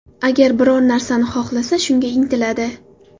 Agar biror narsani xohlasa, shunga intiladi.